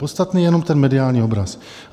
Podstatný je jenom ten mediální obraz.